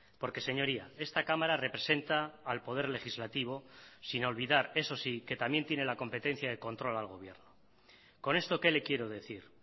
porque señoría esta cámara representa al poder legislativo sin olvidar eso sí que también tiene la competencia de control al gobierno con esto qué le quiero decir